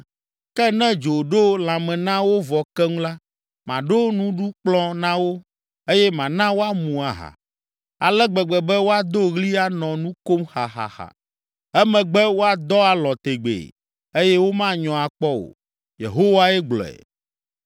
Ke ne dzo ɖo lãme na wo vɔ keŋ la, maɖo nuɖukplɔ̃ na wo, eye mana woamu aha, ale gbegbe be woado ɣli anɔ nu kom xaxaxa, emegbe woadɔ alɔ̃ tegbee, eye womanyɔ akpɔ o.” Yehowae gblɔe.